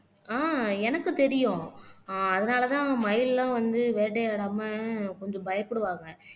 ஆஹ் எனக்கு தெரியும் ஆஹ் அதனாலதான் மயில் எல்லாம் வந்து வேட்டையாடாம கொஞ்சம் பயப்படுவாங்க